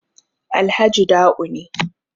Alhaji Da'u ne